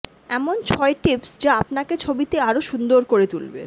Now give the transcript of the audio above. এমন ছয় টিপস যা আপানাকে ছবিতে আরও সুন্দর করে তুলবে